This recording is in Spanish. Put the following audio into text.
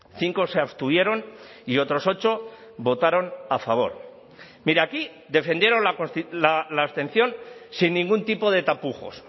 cinco se abstuvieron y otros ocho votaron a favor mire aquí defendieron la abstención sin ningún tipo de tapujos